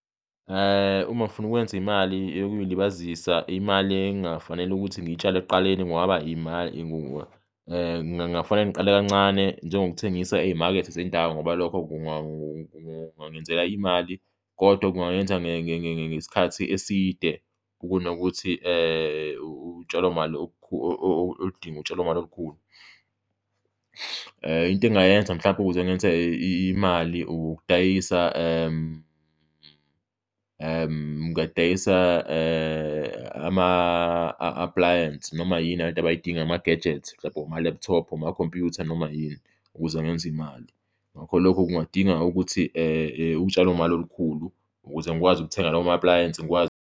Uma ngifuna ukwenza imali yokuy'libazisa, imali engingafanele ukuthi ngiyitshale ekuqaleni kungaba kungafanele ngiqale kancane, njengokuthengisa ey'makethe zendawo ngoba lokho kungangezela imali kodwa kunganyenza ngesikhathi eside kunokuthi utshalo imali oludinga utshalo mali olukhulu. Into engingayenza mhlawumbe ukuze ngenze imali ukudayisa ngingadayisa ama-appliance, noma yini abantu abayidinga, ama-gadgets, mhlawumbe oma-laptop, omakhompuyutha, noma yini ukuze ngenze imali. Ngakho lokho kungadinga ukuthi utshalo mali olukhulu ukuze ngikwazi ukuthenga lawo ma-appliance, ngikwazi.